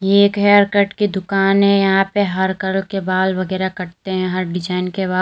ये एक hair cut की दुकान है यहां पे हर कलर के बाल वगैरा कटते हैं हर डिजाइन के बाल।